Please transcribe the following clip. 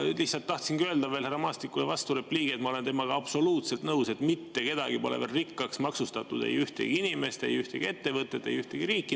Ja lihtsalt tahtsingi öelda veel härra Maastikule vasturepliigi, et ma olen temaga absoluutselt nõus, et mitte kedagi pole veel rikkaks maksustatud: ei ühtegi inimest, ei ühtegi ettevõtet, ei ühtegi riiki.